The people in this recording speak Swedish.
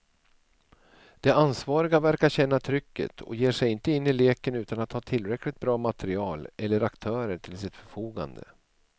De ansvariga verkar känna trycket och ger sig inte in i leken utan att ha tillräckligt bra material eller aktörer till sitt förfogande.